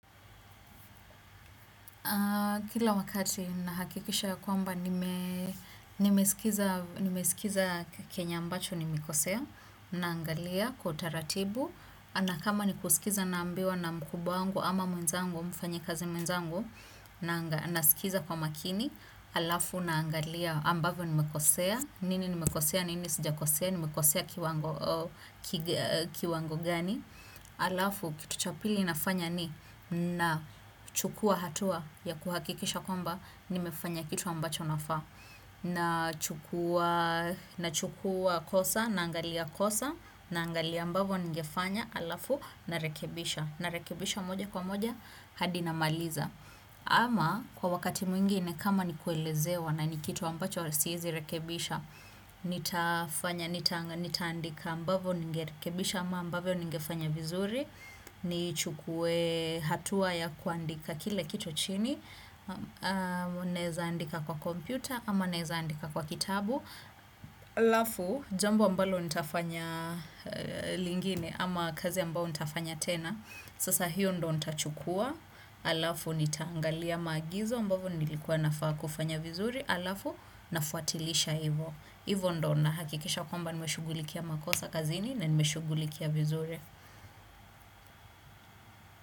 Kila wakati nahakikisha kwamba nimesikiza kenye ambacho nimekosea, naangalia kwa utaratibu, na kama nikusikiza naambiwa na mkubwa wangu ama mwenzangu, mfanya kazi mwenzangu, na nasikiza kwa makini, alafu naangalia ambavyo nimekosea, nini nimekosea, nini sijakosea, nimekosea kiwango gani. Alafu kitu cha pili nafanya ni nachukua hatua ya kuhakikisha ya kwamba nimefanya kitu ambacho nafaa na chukua kosa na angalia kosa na angalia ambavo nigefanya alafu na rekebisha na rekebisha moja kwa moja hadi namaliza ama kwa wakati mwingine kama ni kuelezewa na ni kitu ambacho siezi rekebisha nitafanya, nitaandika ambavyo nigekebisha ama ambavyo nigefanya vizuri ni chukue hatua ya kuandika kile kitu chini naeza andika kwa kompyuta ama naeza andika kwa kitabu alafu, jambo ambalo nitafanya lingine ama kazi ambao nitafanya tena sasa hiyo ndo nitachukua alafu nitaangalia maagizo ambavyo nilikuwa nafaa kufanya vizuri alafu nafuatilisha hivyo hivyo ndo na hakikisha kwamba nimeshugulikia makosa kazini Nz nime shughulikia vizuri.